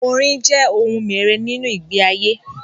Orín jẹ́ ohun mère nínú ìgbé ayé.